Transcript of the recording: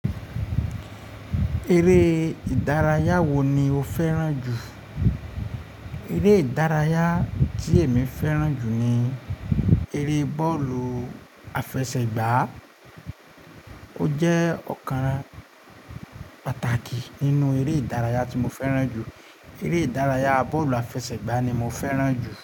Eré ìdárayá wo ni o fẹ́ràn jù? Eré ìdárayá tí èmi fẹ́ràn jù ni eré bọ́ọ̀lù àfẹsẹ̀gbá. Ó jẹ́ ọ̀kan pàtàkì nínú eré ìdárayá tí mo fẹ́ràn jù. Eré ìdárayá bọ́ọ̀lù àfẹsẹ̀gbá ni mo fẹ́ràn jù.